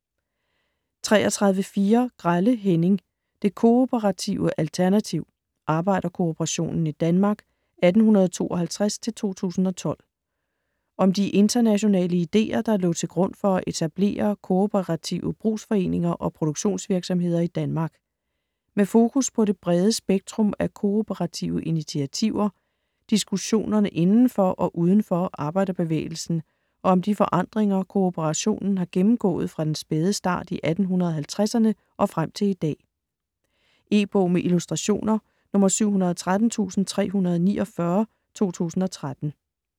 33.4 Grelle, Henning: Det kooperative alternativ: arbejderkooperationen i Danmark 1852-2012 Om de internationale ideer, der lå til grund for at etablere kooperative brugsforeninger og produktionsvirksomheder i Danmark. Med fokus på det brede spektrum af kooperative initiativer, diskussionerne inden for og uden for arbejderbevægelsen og om de forandringer, kooperationen har gennemgået fra den spæde start i 1850'erne og frem til i dag. E-bog med illustrationer 713349 2013.